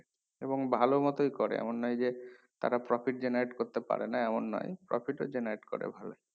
এবং ভালো মতোই করে এমন নয় যে তারা profit generate করতে পারে না এমন নয় profit ও generate করে ভালো